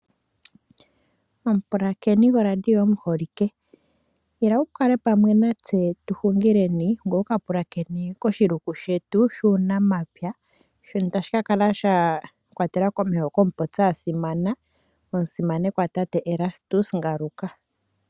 Omupulakeni goradio omuholike , ila kale pamwe natse tuhungileni koshiluku shetu shuunamapya, shono tadhi kakala shakwatelwa komeho komupopi asimana omusimanekwa Tate Erastus Ngaruka.